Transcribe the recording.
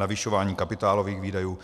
Navyšování kapitálových výdajů